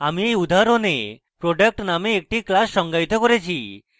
আমি এই উদাহরণে product named class সঙ্গায়িত করেছি